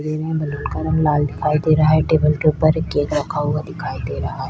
दे रहै हैं बैलून का रंग लाल दिखाई दे रहा है टेबल के ऊपर एक केक रखा हुआ दिखाई दे रहा है।